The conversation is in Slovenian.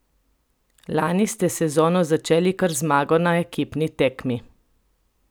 Lani ste sezono začeli kar z zmago na ekipni tekmi!